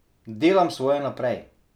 Delam svoje naprej.